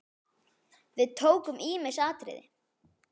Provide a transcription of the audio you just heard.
Við tókum ýmis atriði.